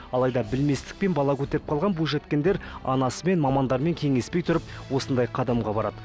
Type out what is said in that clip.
алайда білместікпен бала көтеріп қалған бойжеткендер анасымен мамандармен кеңеспей тұрып осындай қадамға барады